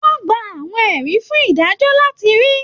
Wọn gbà àwọn ẹrí fún adájọ láti rí.